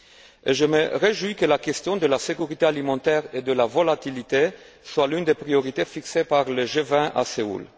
Et je me réjouis que la question de la sécurité alimentaire et de la volatilité soit l'une des priorités fixées par le G20 à Séoul.